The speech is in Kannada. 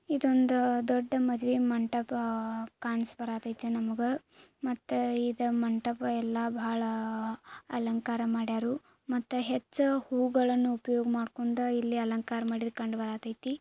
ಇದೊಂದು ದೊಡ್ಡ ಮದುವೆ ಮಂಟಪ ಕಾಣ್ಸ್ ಬರತೈತಿ ನಮ್ಗ ಮತ್ತು ಈ ಮಂಟಪ ಎಲ್ಲಾ ಅಲಂಕಾರ ಮಾಡ್ಯಾರು ಮತ್ತು ಹೆಚ್ಚು ಹೂವುಗಳನ್ನ ಉಪಯೋಗ ಮಾಡ್ಕೊಂಡ ಇಲ್ಲಿ ಅಲಂಕಾರ ಮಾಡ್ಕೊಂಡ ಇಲ್ಲಿ ಕಾಂಡ್ ಬರತೈತಿ